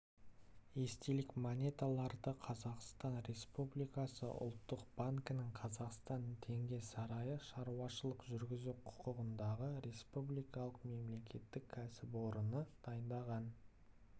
естелік монеталарды қазақстан республикасы ұлттық банкінің қазақстан теңге сарайы шаруашылық жүргізу құқығындағы республикалық мемлекеттік кәсіпорны дайындаған